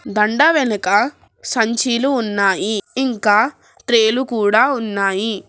దండ వెనక సంచీలు ఉన్నాయి ఇంకా ట్రే లు కూడా ఉన్నాయి.